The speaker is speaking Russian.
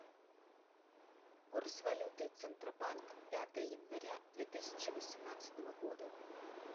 курс валюты центробанк пятое января две тысячи восемнадцатого года